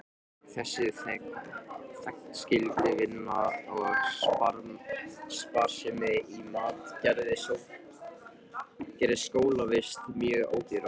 Þessi þegnskylduvinna og sparsemi í mat gerðu skólavist mjög ódýra.